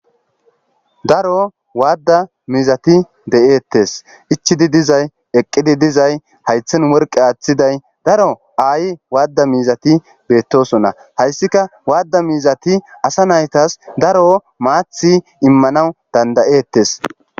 Daro waadda mizati de7eettes ichidi dizay eqqidi dizay haythen morqe aaththiday daro ay waadda miizati beettosona hayssika waadda miizati asa naytas daro maathi immanaw dandayeettes.